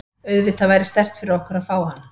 Auðvitað væri sterkt fyrir okkur að fá hann.